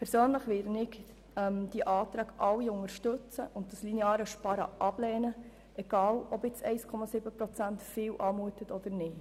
Persönlich werde ich alle diese Anträge unterstützen und das lineare Sparen ablehnen, egal ob 1,7 Prozent nach viel oder nach wenig aussehen.